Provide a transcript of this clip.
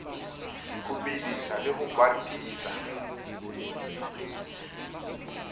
ho bedisa le ho batisa